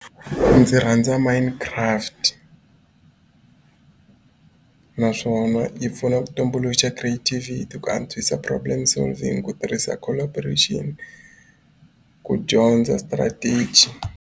Ndzi rhandza mine craft naswona yi pfuna ku tumbuluxa creativity ku antswisa problem solving ku tirhisa collaboration ku dyondza strategy.